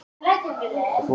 Björn forstjóri Landspítala